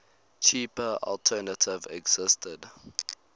cheaper alternative existed